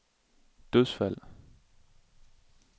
dødsfald